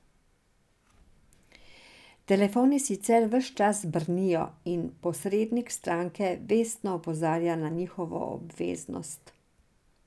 Telefoni sicer ves čas brnijo, in posrednik stranke vestno opozarja na njihovo obveznost.